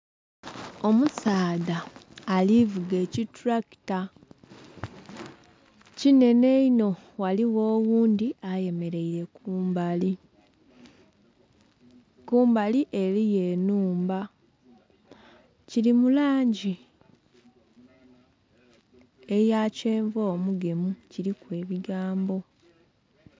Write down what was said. Omusaadha ali vuga ekitulakita kinhenhe inho ghaligho oghundhi ayemeleire kumbali, kumbali eliyo ennhumba. Kili mu langi eya kyenvu omugemu, kiliku ebigambo.